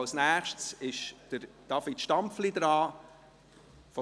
Als Nächstes hat David Stampfli von der SP das Wort.